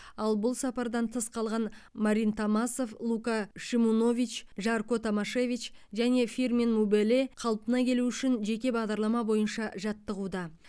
ал бұл сапардан тыс қалған марин томасов лука шимунович жарко томашевич және фирмин мубеле қалпына келуі үшін жеке бағдарлама бойынша жаттығуда